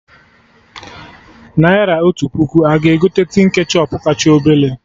Naira otu puku a ga-egote tin ketchọp kacha obele?